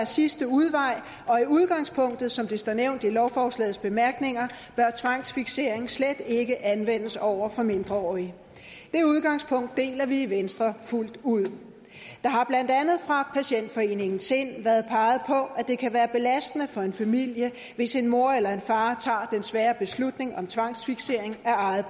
sidste udvej og i udgangspunktet som det står nævnt i lovforslagets bemærkninger bør tvangsfiksering slet ikke anvendes over for mindreårige det udgangspunkt deler vi i venstre fuldt ud der har blandt andet fra landsforeningen sind været peget på at det kan være belastende for en familie hvis en mor eller en far tager den svære beslutning om tvangsfiksering af eget